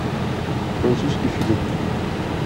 французский фильм